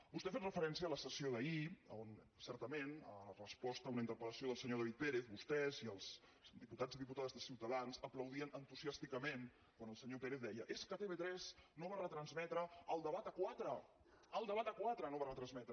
vostè ha fet referència a la sessió d’ahir on certament en resposta a una interpellació del senyor david pérez vostès i els diputats i diputades de ciutadans aplaudien entusiàsticament quan el senyor pérez deia és que tv3 no va retransmetre el debat a quatre el debat a quatre no va retransmetre